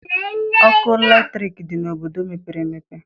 Ọkụ latriki dị n'obodo mepere emepe.